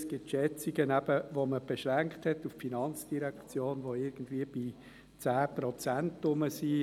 Es gibt Schätzungen, die man auf die FIN beschränkt hat, die irgendwo bei 10 Prozent liegen.